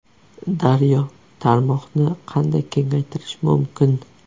Daryo: Tarmoqni qanday kengaytirish mumkin?